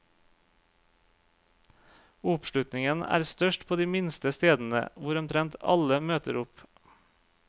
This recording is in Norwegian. Oppslutningen er størst på de minste stedene, hvor omtrent alle møter opp.